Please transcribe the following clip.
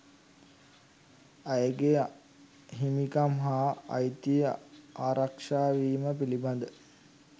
අයගේ හිමිකම් හා අයිතිය ආරක්ෂාවීම පිලිබඳ